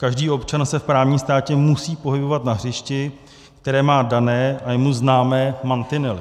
Každý občan se v právním státě musí pohybovat na hřišti, které má dané a jemu známé mantinely.